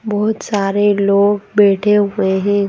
बहुत सारे लोग बैठे हुए हैं।